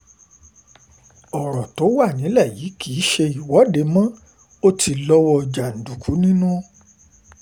ọ̀rọ̀ tó wà nílẹ̀ yìí kì í ṣe ìwọ́de mo ò ti lọ́wọ́ jàǹdùkú nínú